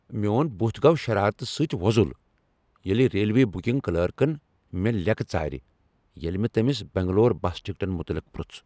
میون بُتھ گو شرارتہٕ سۭتۍ وۄزل ییلِہ ریلوے بُکِنگ کلرکن مےٚ لِیکہٕ ژارِ ییلِہ مےٚ تٔمِس بینگلور بس ٹِکٹن متعلق پرُژھ ۔